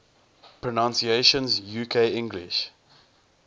pronunciations uk english